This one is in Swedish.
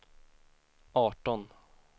arton